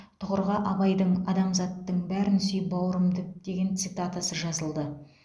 тұғырға абайдың адамзаттың бәрін сүй бауырым деп деген цитатасы жазылды